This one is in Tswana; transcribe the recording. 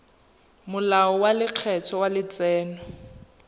molao wa lekgetho wa letseno